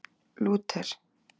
Lúter